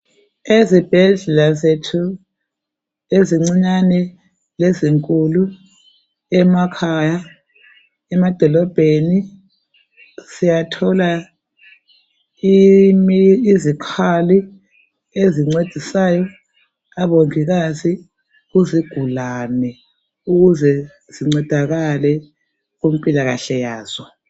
Ezibhedlela zethu ezincinyane lezinkulu, emakhaya emadolobheni. Siyathola izikhali ezincedisayo abongikazi kuzigulane ukuze zincedakale kumpilakahle yazo.